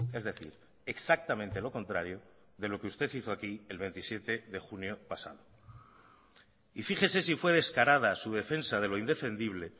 es decir exactamente lo contrario de lo que usted hizo aquí el veintisiete de junio pasado y fíjese si fue descarada su defensa de lo indefendible